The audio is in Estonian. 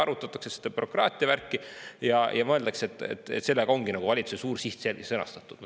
Arutatakse seda bürokraatiavärki ja mõeldakse, et sellega ongi valitsuse suur siht sõnastatud.